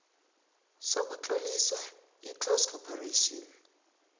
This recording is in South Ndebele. sokutlolisa iclose corporation